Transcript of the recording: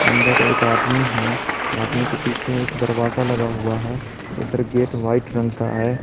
अंदर एक आदमी है आदमी के पीछे एक दरवाजा लगा हुआ है इधर गेट व्हाइट रंग का है।